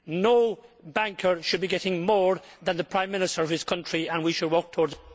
No banker should be getting more than the Prime Minister of his country, and we should work towards